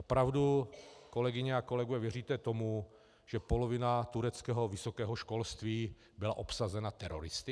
Opravdu, kolegyně a kolegové, věříte tomu, že polovina tureckého vysokého školství byla obsazena teroristy?